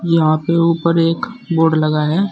यहां पे ऊपर एक बोर्ड लगा है।